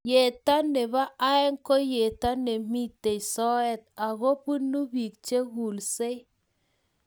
Yeto nebo aeng ko yeto nemitei soet ako punu piik chekulsei